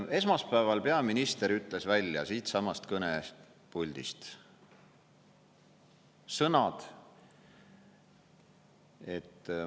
Esmaspäeval peaminister ütles välja siitsamast kõnepuldist sõnad, et ...